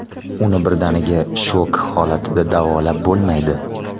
Uni birdaniga shok holatida davolab bo‘lmaydi.